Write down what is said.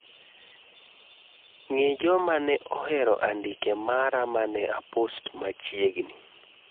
ng'i joma ne ohero andike mara mane apost machiegni